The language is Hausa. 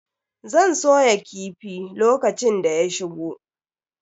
Zan soya kifi lokacin da ya shigo.